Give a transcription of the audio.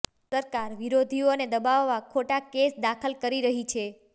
સરકાર વિરોધીઓને દબાવવા ખોટા કેસ દાખલ કરી રહી છે